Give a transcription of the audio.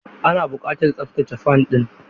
Ana buƙatar tsabtace fan ɗin.